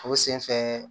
O senfɛ